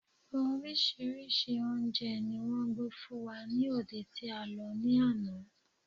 Orísírìsí oúnje ni wón gbé fún wa ni òde tí a lo ní ana